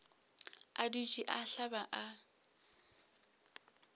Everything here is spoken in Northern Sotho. a dutše a hlaba a